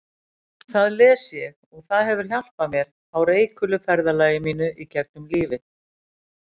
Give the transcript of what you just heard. Það les ég og það hefur hjálpað mér á reikulu ferðalagi mínu gegnum lífið.